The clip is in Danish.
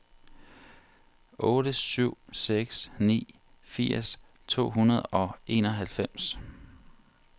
otte syv seks ni firs to hundrede og enoghalvfems